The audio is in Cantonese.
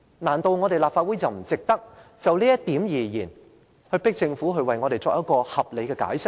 難道立法會不值得就這一點，迫使政府為我們作出合理解釋嗎？